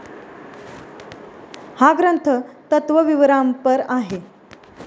हा ग्रंथ तत्वविवरांपर आहे.